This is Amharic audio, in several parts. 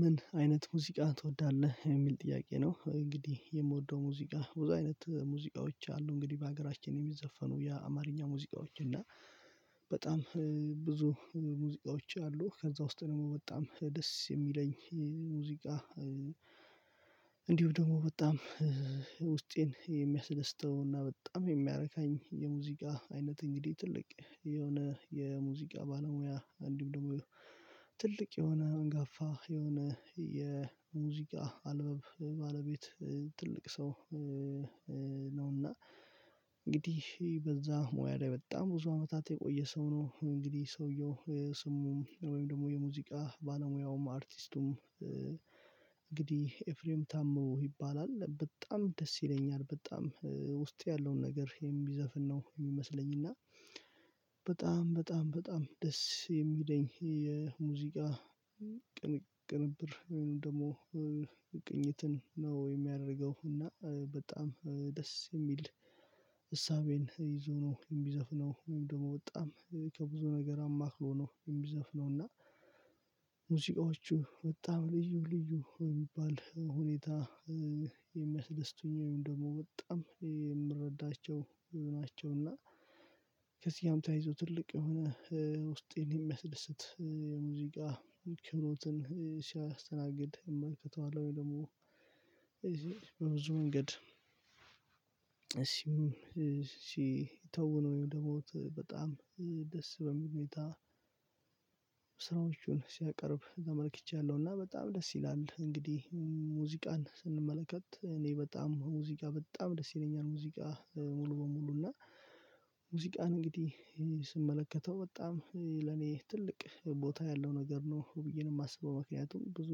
ምን አይነት ሙዚቃ ትወዳለህ የሚል ጥያቄ ነው? እንግዲህ የምወደው ሙዚቃ ብዙ አይነት ሙዚቃዎች አሉ። እንግዲህ በሀገራችን የሚዘፈኑ የአማርኛ ሙዚቃዎች እና በጣም ብዙ ሙዚቃዎች አሉ ከዛ ውስጥ ደግሞ በጣም ደስ የሚለኝ ሙዚቃ። እንዲሁ ደግሞ በጣም ውስጤን የሚያስደስተውና በጣም የሚያረካኝ የሙዚቃ አይነት እንግዲህ ትልቅ የሆነ የሙዚቃ ባለሙያ አንድም ደግሞ ትልቅ የሆነ አንጋፋ የሆነ የሙዚቃ አልበም ባለቤት ትልቅ ሰው። ነውና እና እንግዲህ በዛ ሙያ ላይ በጣም ብዙ አመታት የቆየ ሰው ነው። እንግዲህ ሰውየው ስሙም ወይም ደግሞ የሙዚቃ ባለሙያውም አርቲስቱም እንግዲህ ኤፍሬም ታምሩ ይባላል በጣም ደስ ይለኛል በጣም ውስጤ ያለውን ነገር የሚዘፍን ነው የሚመስለኝ። እና በጣም በጣም በጣም ደስ የሚለኝ የሙዚቃ ቅንብር ወይም ደግሞ ቅኝትን ነው የሚያደርገው እና በጣም ደስ የሚል እሳቤን ይዞ ነው የሚዘፍነው። ወይም ደግሞ በጣም ከብዙ ነገር አማክሮ ነው የሚዘፍነው። እና ሙዚቃዎቹ በጣም ልዩ ልዩ የሚባል ሁኔታ የሚያስደስቱኝ ወይም ደግሞ በጣም የምረዳቸው ናቸውና ታይዞ ትልቅ የሆነ ውስጤን የሚያስደስት የሙዚቃ ክብሮትን ሲያስተናግድ የተው አለ። ወይ ደግሞ በብዙ መንገድ እሺ ተውነው ወይም ደግሞ በጣም ደስ በሚል ሁኔታ ስራዎቹን ሲያቀርብ ተመልክቻለሁ። እና በጣም ደስ ይላል እንግዲህ ሙዚቃን ስንመለከት እኔ በጣም ሙዚቃ በጣም ደስ ይለኛል። ሙዚቃ ሙሉ በሙሉ እና ሙዚቃን እንግዲህ ስመለከተው በጣም ለኔ ትልቅ ቦታ ያለው ነገር ነው ብዬ ነው የማስበው። ምክንያቱም ብዙ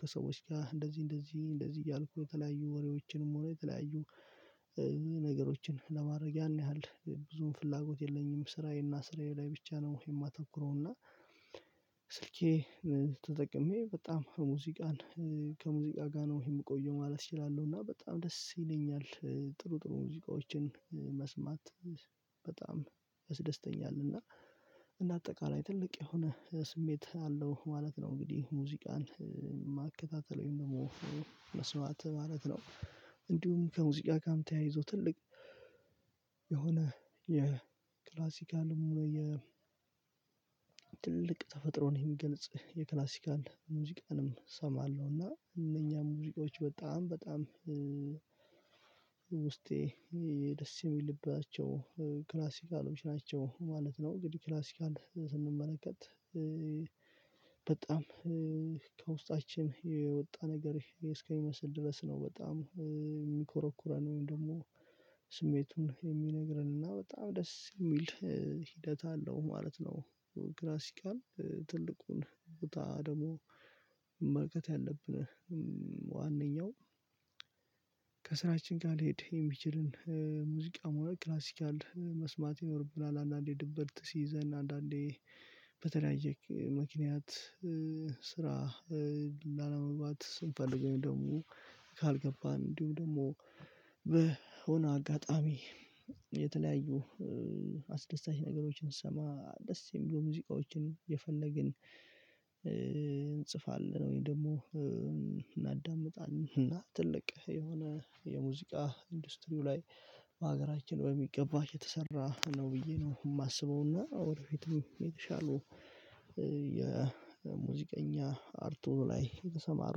ከሰዎች ጋር እንደዚህ እንደዚህ እንደዚህ እያልኩ የተለያዩ ወሬዎችንም ሆነ የተለያዩ ነገሮችን ለማድረግ ያን ያህል ብዙም ፍላጎት የለኝም። ስራዬና ስራዬ ላይ ብቻ ነው የማተኩረውና ስልኬ ተጠቅሜ በጣም ሙዚቃን ከሙዚቃ ጋር ነው የምቆየው ማለት እችላለሁ። እና በጣም ደስ ይለኛል ጥሩ ጥሩ ሙዚቃዎችን መስማት በጣም ያደስተኛ እና እና አጠቃላይ ትልቅ የሆነ ስሜት አለው ማለት ነው። እንግዲህ ሙዚቃን ማከታተል ወይም ደግሞ መስማት ማለት ነው። እንዲሁም ከሙዚቃ ጋር ተያይዞ ትልቅ የሆነ የክላሲካል ሙሉ የ ትልቅ ተፈጥሮን የሚገልጽ የክላሲካል ሙዚቃንም እሰማለሁ እና እነኛ ሙዚቃዎች በጣም በጣም ውስጤ የደስ የሚልባቸው ክላሲካሎች ናቸው ማለት ነው። እንግዲህ ክላሲካል ስንመለከት በጣም ከውስጣችን የወጣ ነገር እስከሚመስል ድረስ ነው በጣም የሚኮረኩረን ወይም ደግሞ ስሜቱን የሚነግረንና በጣም ደስ የሚል ሂደት አለው ማለት ነው። ክላሲካል ትልቁን ቦታ ደግሞ መመልከት ያለብን ዋነኛው ከስራችን ጋር ልሄድ የሚችልን ሙዚቃ ወይም ክላሲካል መስማት ይኖርብናል። አንዳንዴ ድብርት ሲይዘን አንዳንዴ በተለያየየ ምክንያት ስራ ስንፈልገው ደግሞ ካልገባን እንዲሁም ደግሞ በሆነ አጋጣሚ የተለያዩ አስደሳች ነገሮችን ስሰማ ደስ የሚለው ሙዚቃዎችን የፈለግን እንጽፋለን ወይም ደግሞ እናዳምጣለን። እና ትልቅ የሆነ የሙዚቃ ኢንዱስትሪው ላይ በሀገራችን በሚገባ የተሰራ ነው ብዬ ነው የማስበውና ወደፊትም የተሻሉ የሙዚቀኛ አርቱ ላይ የተሰማሩ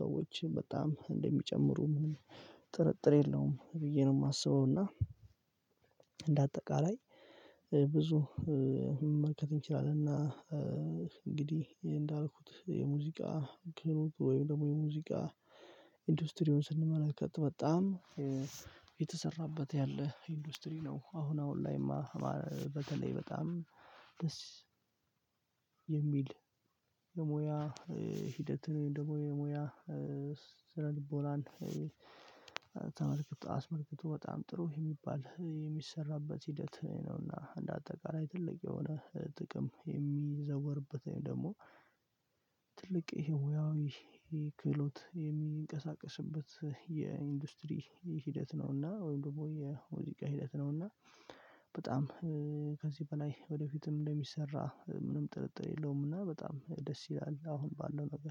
ሰዎች በጣም እንደሚጨምሩ ምንም ጥርጥር የለውም ብዬ ነው የማስበው። እና እንደ አጠቃላይ ብዙ መመልከት እንችላለንና እንግዲህ እንዳልኩት የሙዚቃ ግሩብ ወይም ደግሞ የሙዚቃ ኢንዱስትሪውን ስንመለከት በጣም የተሰራበት ያለ ኢንዱስትሪ ነው። አሁን አሁን ላይማ በተለይ በጣም ደስ የሚል የሙያ ሂደት ወይም ደግሞ የሙያ ስነልቦናን ተመልክቶ አስመልክቶ በጣም ጥሩ የሚባል የሚሰራበት ሂደት ነውና እንደ አጠቃላይ ትልቅ የሆነ ጥቅም የሚዘወርበት ወይም ደግሞ ትልቅ ይሄ ሞያዊ ክህሎት የሚንቀሳቀስበት የኢንዱስትሪ ሂደት ነውና ወይም ደግሞ የወደቀ ሂደት ነውና። በጣም ከዚህ በላይ ወደፊትም እንደሚሰራ ምንም ጥርጥር የለውም እና በጣም ደስ ይላል። አሁን ባለው ነገር